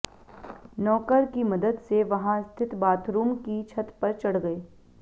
नौकर की मदद से वहां स्थित बाथरूम की छत पर चढ़ गए